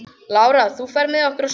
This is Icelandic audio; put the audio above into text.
Lára, ferð þú með okkur á sunnudaginn?